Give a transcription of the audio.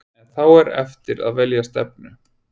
En þá er eftir að velja stefnu.